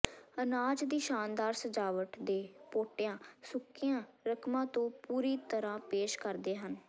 ਅਨਾਜ ਦੀ ਸ਼ਾਨਦਾਰ ਸਜਾਵਟ ਦੇ ਪੋਟੀਆਂ ਸੁੱਕੀਆਂ ਰਕਮਾਂ ਤੋਂ ਪੂਰੀ ਤਰ੍ਹਾਂ ਪੇਸ਼ ਕਰਦੇ ਹਨ